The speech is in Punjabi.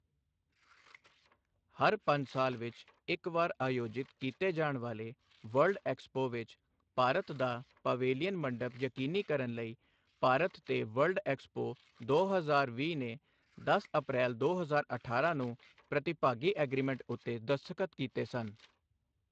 ਹਰ ਪੰਜ ਸਾਲ ਵਿੱਚ ਇੱਕ ਵਾਰ ਆਯੋਜਿਤ ਕੀਤੇ ਜਾਣ ਵਾਲੇ ਵਰਲਡ ਐਕਸਪੋ ਵਿੱਚ ਭਾਰਤ ਦਾ ਪਵੇਲੀਅਨ ਮੰਡਪ ਯਕੀਨੀ ਕਰਨ ਲਈ ਭਾਰਤ ਤੇ ਵਰਲਡ ਐਕਸਪੋ ਦੋ ਹਜ਼ਾਰ ਵੀਹ ਨੇ ਦਸ ਅਪ੍ਰੈਲ ਦੋ ਹਜ਼ਾਰ ਅਠਾਰਾਂ ਨੂੰ ਪ੍ਰਤੀਭਾਗੀ ਐਗਰੀਮੈਂਟ ਉੱਤੇ ਦਸਤਖ਼ਤ ਕੀਤੇ ਸਨ।